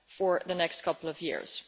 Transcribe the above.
over the next couple of years.